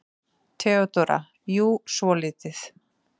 THEODÓRA: Jú, svolítið.